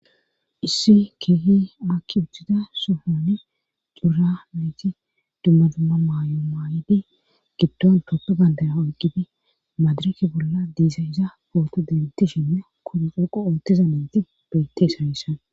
issi keehi akki uttida sohoni cora nayti dumma dumma maayo maayidi giddon toppo bandaya oyqidi madiraki bolla diiza iza booti dinti shinne kuru xoqu oottiza meeti betes hayissan